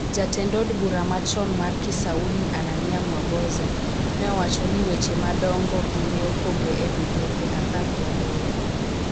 Jatend od bura machon mar Kisauni, Ananiah Mwaboza, ne owacho ni: �Weche madongo gi ne opogi e migepe apar gi aboro.�